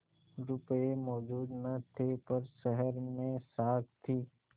रुपये मौजूद न थे पर शहर में साख थी